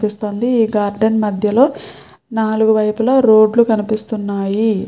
కనిపిస్తుంది ఈ గార్డెన్ మధ్యలో నాలుగు వైపులా రోడ్లు కనిపిస్తున్నాయి